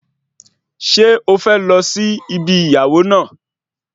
Ṣé o fẹ́ lọ sí ibi ìyàwó náà